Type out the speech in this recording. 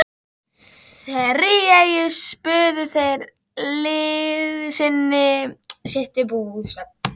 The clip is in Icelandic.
Þrívegis buðu þeir liðsinni sitt við bústörfin.